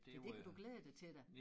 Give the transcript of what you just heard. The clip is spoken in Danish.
Så det kan du glæde dig til da